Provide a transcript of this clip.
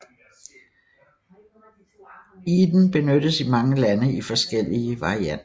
Eden benyttes i mange lande i forskellige varianter